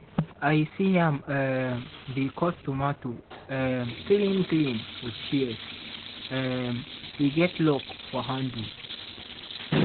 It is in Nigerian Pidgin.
i see am um dey cut tomato um clean clean with shears um we get lock for handle.